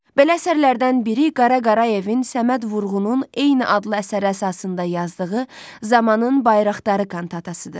Belə əsərlərdən biri Qara Qarayevin Səməd Vurğunun eyni adlı əsəri əsasında yazdığı "Zamanın Bayraqdarı" kantatasıdır.